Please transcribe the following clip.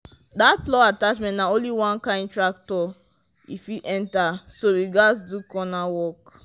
that plow attachment na only one kind tractor e fit enter so we gatz do corner work.